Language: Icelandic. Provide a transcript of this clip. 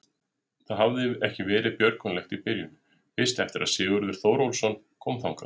Það hafði ekki verið björgulegt í byrjun, fyrst eftir að Sigurður Þórólfsson kom þangað.